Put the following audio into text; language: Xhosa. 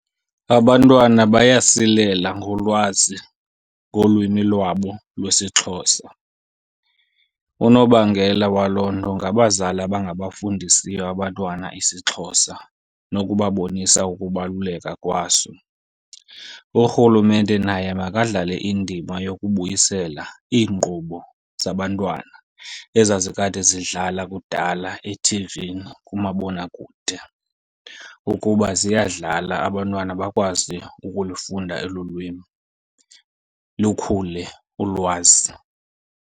Abantwana bayasilela ngolwazi ngolwimi lwabo lwesiXhosa. Unobangela waloo nto ngabazali abangabafundisiyo abantwana isiXhosa nokubabonisa ukubaluleka kwaso. URhulumente naye makadlale indima yokubuyisela iinkqubo zabantwana ezazikade zidlala kudala ethivini kumabonakude. Ukuba ziyadlala, abantwana bakwazi ukulufunda elu lwimi lukhule ulwazi.